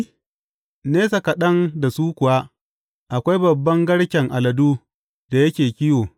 Nesa kaɗan da su kuwa akwai babban garken aladu da yake kiwo.